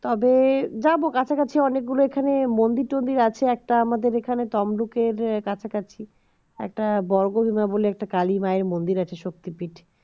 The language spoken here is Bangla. তবে যাব কাছাকাছি অনেকগুলোএখানে মন্দির টন্দির আছে একটা আমাদের এখানে তমলুকুর কাছাকাছি একটা বর্গভীমা বলে একটা কালী মায়ের মন্দির আছে শক্তিপীঠ